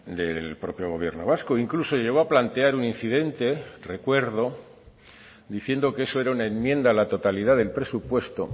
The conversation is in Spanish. del propio gobierno vasco incluso llegó a plantear un incidente recuerdo diciendo que eso era una enmienda a la totalidad del presupuesto